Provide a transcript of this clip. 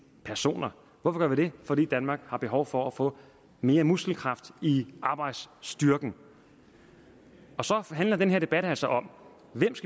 personer hvorfor gør vi det fordi danmark har behov for at få mere muskelkraft i arbejdsstyrken og så handler den her debat altså om hvem